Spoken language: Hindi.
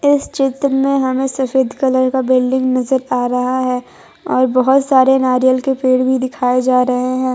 इस चित्र में हमें सफेद कलर का बिल्डिंग नजर आ रहा है और बहुत सारे नारियल के पेड़ भी दिखाई जा रहे हैं।